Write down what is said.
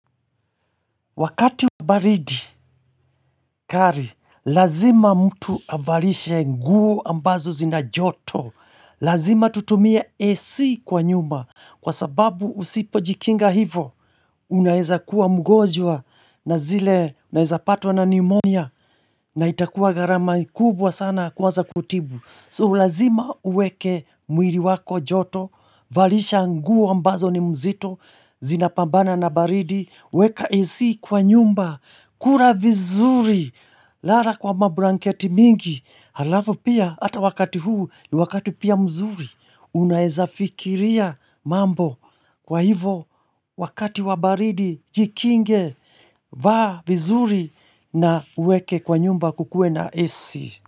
Wakati wa baridi, kari, lazima mtu avalishe nguo ambazo zina joto, lazima tutumie AC kwa nyumba, kwa sababu usipo jikinga hivo, unaeza kuwa mgonjwa na zile unaeza patwa na pneumonia, na itakuwa gharama kubwa sana kuaza kutibu. So, lazima uweke mwili wako joto, valisha nguo ambazo ni mzito, zinapambana na baridi, weka AC kwa nyumba, kula vizuri, lala kwa mablanketi mingi, halafu pia, ata wakati huu, ni wakati pia mzuri, unaeza fikiria mambo, kwa hivo, wakati wa baridi, jikinge, vaa vizuri, na uweke kwa nyumba kukue na AC.